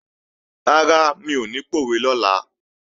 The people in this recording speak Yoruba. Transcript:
Rárá, mi ò ní pòwe lọ́la